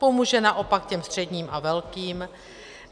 Pomůže naopak těm středním a velkým.